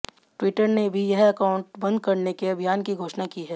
Twitter ने भी यह अकाउंट बंद करने के अभियान की घोषणा की है